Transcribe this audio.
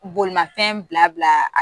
Bolimafɛn bila bila